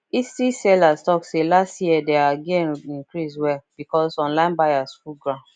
etsy sellers talk say last year their gain increase well because online buyers full ground